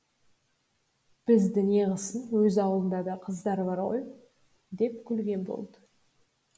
бізді неғысын өз ауылында да қыз бар ғой деп күлген болды